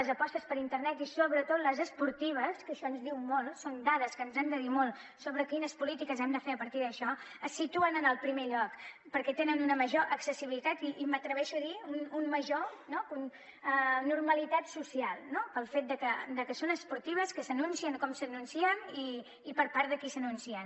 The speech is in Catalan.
les apostes per internet i sobretot les esportives que això ens diu molt són dades que ens han de dir molt sobre quines polítiques hem de fer a partir d’això es situen en el primer lloc perquè tenen una major accessibilitat i m’atreveixo a dir una major normalitat social pel fet que són esportives que s’anuncien com s’anuncien i per part de qui s’anuncien